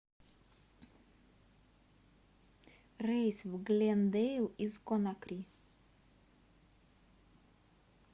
рейс в глендейл из конакри